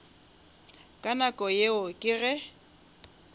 ka nako yeo ke ge